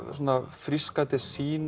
frískandi sýn